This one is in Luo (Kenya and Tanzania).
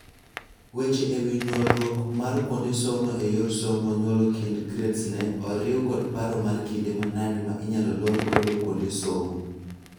Weche ewii nyuolruok mar kuonde somo eyor somo nyuolo kind gradesne oriu kod paro mar kinde manade ma inyalo lor god kuonde somo.